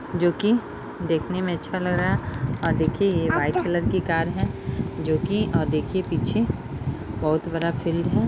जोकि देखने में अच्छा लग रहा है और देखिये यह एक वाइट कलर की कार है जोकि देखिये पीछे बहुत बड़ा फील्ड है।